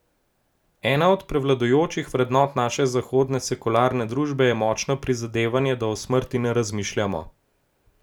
Ena od prevladujočih vrednot naše zahodne sekularne družbe je močno prizadevanje, da o smrti ne razmišljamo.